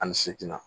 Ani seegin na